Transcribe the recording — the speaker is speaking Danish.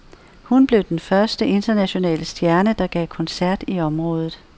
Hun blev den første internationale stjerne, der gav koncert i området.